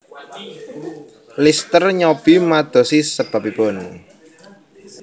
Lister nyobi madosi sebabibun